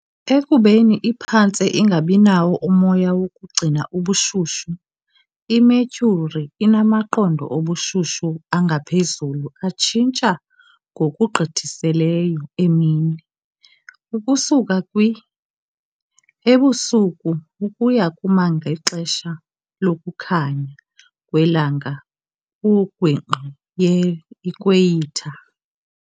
Ekubeni iphantse ingabinawo umoya wokugcina ubushushu, iMercury inamaqondo obushushu angaphezulu atshintsha ngokugqithisileyo emini, ukusuka kwi. ebusuku ukuya kuma- ngexesha lokukhanya kwelanga kungingqi ye-ikhweyitha.